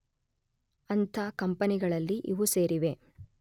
ಅಂಥ ಕಂಪನಿಗಳಲ್ಲಿ ಇವು ಸೇರಿವೆ